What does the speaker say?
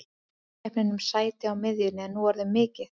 Samkeppnin um sæti á miðjunni er nú orðin mikil.